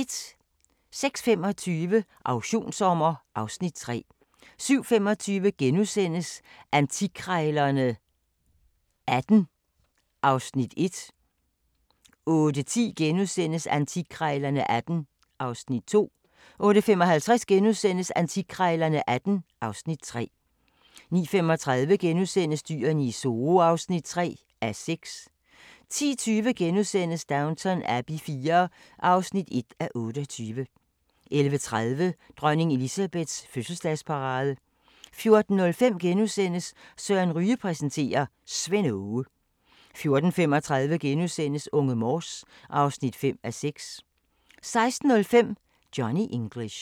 06:25: Auktionssommer (Afs. 3) 07:25: Antikkrejlerne XVIII (Afs. 1)* 08:10: Antikkrejlerne XVIII (Afs. 2)* 08:55: Antikkrejlerne XVIII (Afs. 3)* 09:35: Dyrene i Zoo (3:6)* 10:20: Downton Abbey IV (1:28)* 11:30: Dronning Elizabeths fødselsdagsparade 14:05: Søren Ryge præsenterer: Svend Aage * 14:35: Unge Morse (5:6)* 16:05: Johnny English